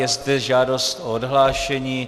Je zde žádost o odhlášení.